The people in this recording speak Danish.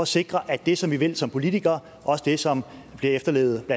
sikre at det som vi vil som politikere også er det som bliver efterlevet af